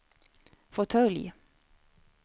fåtölj